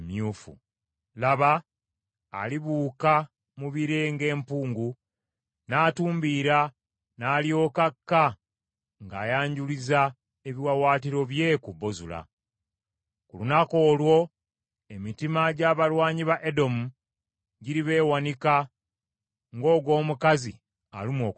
Laba, alibuuka mu bire ng’empungu n’atumbiira, n’alyoka akka ng’ayanjululiza ebiwaawaatiro bye ku Bozula. Ku lunaku olwo emitima gy’abalwanyi ba Edomu giribeewanika ng’ogw’omukazi alumwa okuzaala.